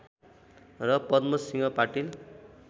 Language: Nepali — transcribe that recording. र पद्म सिंह पाटिल